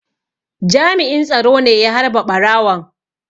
Jami'in tsaro ne ya harbe ɓarawon.